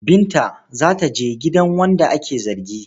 Binta za ta je gidan wanda ake zargi.